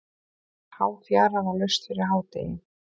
Háfjara var laust fyrir hádegi.